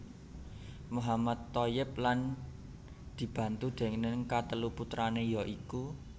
Mohammad Thoyyib lan dibantu déning katelu putrané ya iku